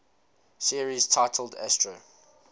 series titled astro